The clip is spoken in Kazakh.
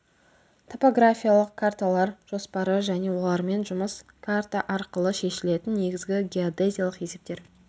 топографиялық карталар жоспары және олармен жұмыс карта арқылы шешілетін негізгі геодезиялық есептер